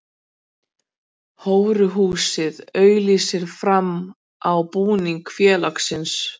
Hóruhúsið auglýsir framan á búningi félagsins.